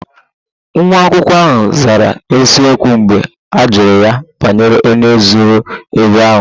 Nwa akwụkwọ ahụ zara n'eziokwu mgbe a jụrụ ya banyere onye zuru ego ahụ